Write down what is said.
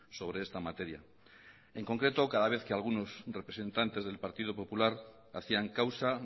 sobre esta materia en concreto cada vez que algunos representantes del partido popular hacían causa